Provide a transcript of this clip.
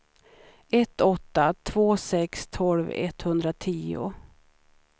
ett åtta två sex tolv etthundratio